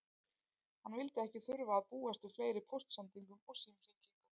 Hann vildi ekki þurfa að búast við fleiri póstsendingum og símhringingum.